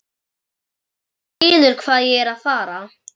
Þú skilur hvað ég er að fara.